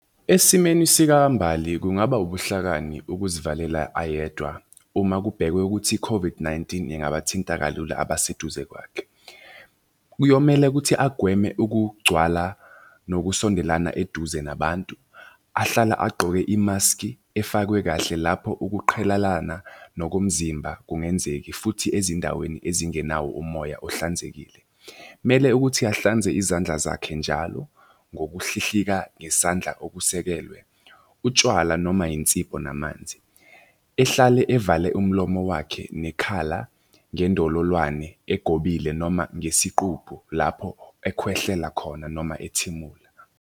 Esimeni sikaMbali kungaba ubuhlakani ukuzivalela ayedwa uma kubhekwe ukuthi i-COVID-19, ingabathinta kalula abaseduze kwakhe. Kuyomele ukuthi agweme ukugcwala nokusondelana eduze nabantu. Ahlala agqoke imaskhi efakwe kahle lapho ukuqhelelana nokomzimba kungenzeki futhi ezindaweni ezingenawo umoya ohlanzekile. Mele ukuthi ahlanze izandla zakhe njalo ngokuhlihlika ngesandla okusekelwe, utshwala noma yinsipho namanzi. Ehlale evale umlomo wakhe nekhala ngendololwane egobile noma ngesiqupho lapho ekhwehlela khona noma ethimula.